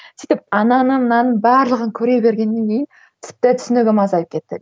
сөйтіп ананы мынаны барлығын көре бергеннен кейін тіпті түсінігім азайып кетті